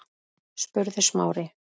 spurði Smári.